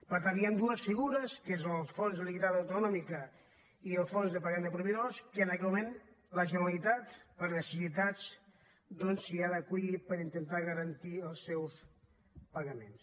per tant hi han dues figures que són el fons de liquiditat autonòmica i el fons de pagament de proveïdors que en aquest moment la generalitat per necessitats doncs s’hi ha d’acollir per intentar garantir els seus pagaments